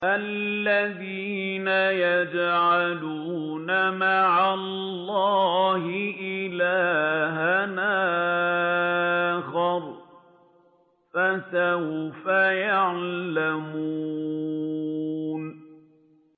الَّذِينَ يَجْعَلُونَ مَعَ اللَّهِ إِلَٰهًا آخَرَ ۚ فَسَوْفَ يَعْلَمُونَ